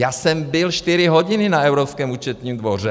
Já jsem byl čtyři hodiny na Evropském účetním dvoře.